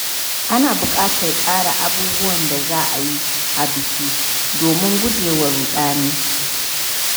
Ana buƙatar tsara abubuwan da za a yi a biki domin gujewa ruɗani.